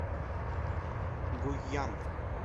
гуйян